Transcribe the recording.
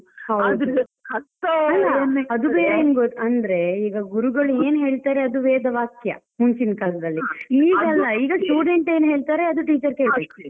ಅಲ್ಲ ಅದು ಬೇರೆ ಅಂದ್ರೆ ಗುರುಗಳು ಏನ್ ಹೇಳ್ತಾರೆ ಅದು ವೇದ ವಾಕ್ಯ ಮುಂಚಿನ ಕಾಲದಲ್ಲಿ ಈಗ student ಏನ್ ಹೇಳ್ತಾರೆ ಅದು teacher ಕೇಳ್ಬೇಕು .